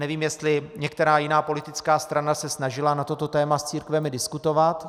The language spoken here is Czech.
Nevím, jestli některá jiná politická strana se snažila na toto téma s církvemi diskutovat.